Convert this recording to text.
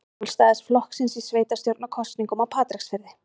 Sjálfstæðisflokksins í sveitarstjórnarkosningum á Patreksfirði.